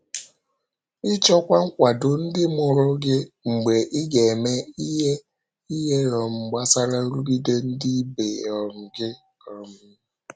Ịchọkwa nkwado ndị mụrụ gị mgbe ị ga-eme ihe ihe um gbasara nrụgide ndị ibe um gị. um